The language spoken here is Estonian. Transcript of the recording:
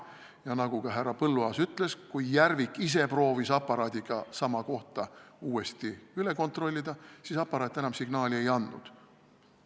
Ja nagu ka härra Põlluaas ütles, kui Järvik ise proovis aparaadiga sama kohta uuesti üle kontrollida, siis aparaat enam signaali ei andnud.